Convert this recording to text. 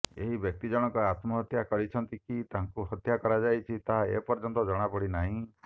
ଏହି ବ୍ୟକ୍ତି ଜଣଙ୍କ ଆତ୍ମହତ୍ୟା କରିଛନ୍ତି କି ତାଙ୍କୁ ହତ୍ୟା କରାଯାଇଛି ତାହା ଏପର୍ଯ୍ୟନ୍ତ ଜଣା ପଡିନାହିଁ